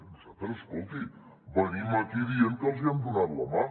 nosaltres escolti venim aquí dient que els hi hem donat la mà